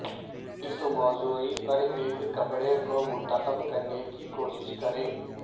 اس موضوع پر ایک کپڑے کو منتخب کرنے کی کوشش کریں